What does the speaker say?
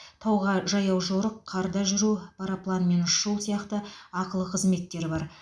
тауға жаяу жорық қарда жүру парапланмен ұшу сияқты ақылы қызметтер бар